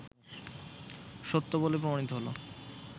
সত্য বলে প্রমাণিত হলো